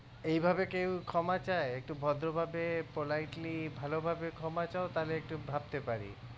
এইভাবে কেউ ক্ষমা চায় একটু ভদ্রভাবে politely ভালোভাবে ক্ষমা চাও তাহলে একটু ভাবতে পারি